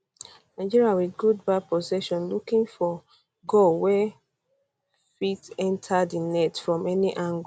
nigeria wit good ba possession looking for looking for goal wey fit enta di net from any angle